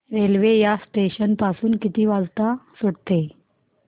railway या station पासून किती वाजता सुटते